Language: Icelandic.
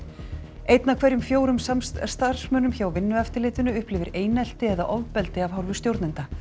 einn af hverjum fjórum starfsmönnum hjá Vinnueftirlitinu upplifir einelti eða ofbeldi af hálfu stjórnenda